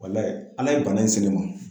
Ala ye bana in se ne ma